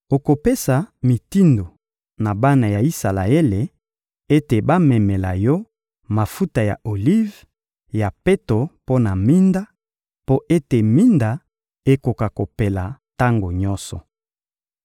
Okopesa mitindo na bana ya Isalaele ete bamemela yo mafuta ya olive ya peto mpo na minda, mpo ete minda ekoka kopela tango nyonso.